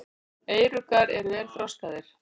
Eyruggar eru vel þroskaðir.